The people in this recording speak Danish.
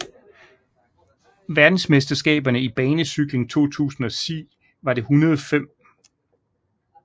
Verdensmesterskaberne i banecykling 2010 var det 105